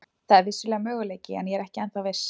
Það er vissulega möguleiki en ég er ekki ennþá viss.